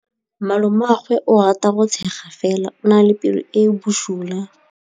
Malomagwe o rata go tshega fela o na le pelo e e bosula.